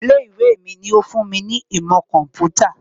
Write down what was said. Ilé ìwé mi ló fún mi ní ìmọ̀ kọ̀ḿpútà